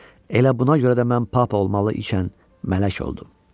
Elə buna görə də mən papa olmalı ikən mələk oldum.